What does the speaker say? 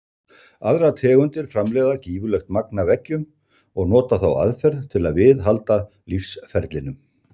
Aðrar tegundir framleiða gífurlegt magn af eggjum og nota þá aðferð til að viðhalda lífsferlinum.